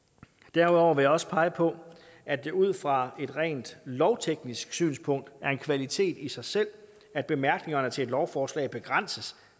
derudover vil jeg også pege på at det ud fra et rent lovteknisk synspunkt er en kvalitet i sig selv at bemærkningerne til et lovforslag begrænses